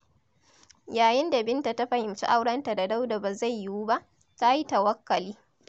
Yayin da Binta ta fahimci aurenta da Dauda ba zai yiwu ba, ta yi tawakkali.